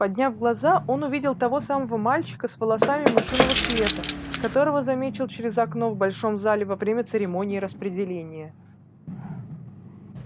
подняв глаза он увидел того самого мальчика с волосами мышиного цвета которого заметил через окно в большом зале во время церемонии распределения